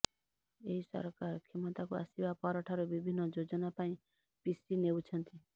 ଏହି ସରକାର କ୍ଷମତାକୁ ଆସିବା ପର ଠାରୁ ବିଭିନ୍ନ ଯୋଜନା ପାଇଁ ପିସି ନେଉଛନ୍ତି